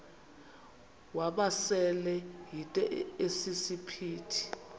wamasele yinto esisiphithi